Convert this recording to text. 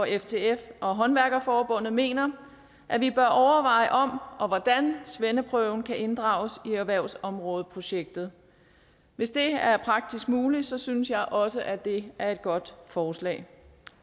ftf og håndværkerforeningen mener at vi bør overveje om og hvordan svendeprøven kan inddrages i erhvervsområdeprojektet hvis det er praktisk muligt synes jeg også at det er et godt forslag